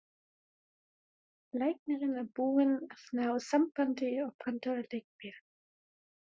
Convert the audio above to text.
Læknirinn er búinn að ná sambandi og pantar líkbíl.